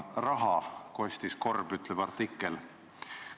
"Raha," kostis Korb," ütleb artikkel.